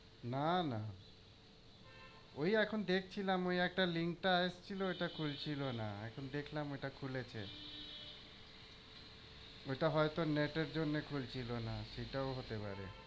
না না, ওই এখন দেখছিলাম ওই একটা link টা এসেছিলো ওটা খুলছিলোনা। এখন দেখলাম ওটা খুলেছে। ওইটা হয়তো net এর জন্যে খুলছিল না, সেটাও হতে পারে।